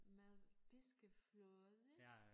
Med piskefløde